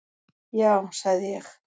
"""Já, sagði ég."""